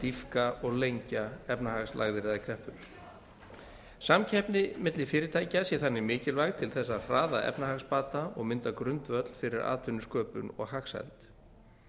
dýpka og lengja efnahagslægðir eða kreppur samkeppni milli fyrirtækja sé þannig mikilvæg til þess að hraða efnahagsbata og mynda grundvöll fyrir atvinnusköpun og hagsæld